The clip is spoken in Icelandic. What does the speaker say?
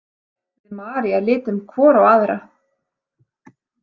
Við María litum hvor á aðra.